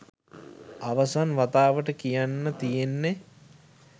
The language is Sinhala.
අවසන් වතාවට කියන්න තියෙන්නෙ